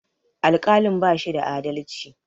Alƙalin bashi da adalci